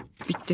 Bitdi.